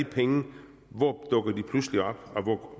penge hvor dukker de pludselig op